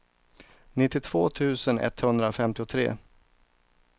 nittiotvå tusen etthundrafemtiotre